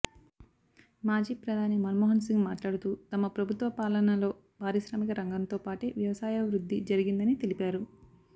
మాజీ ప్రధాని మన్మోహన్ సింగ్ మాట్లాడుతూ తమ ప్రభుత్వ పాలనలో పారిశ్రామిక రంగంతో పాటే వ్యవసాయ వృద్ధి జరిగిందని తెలిపారు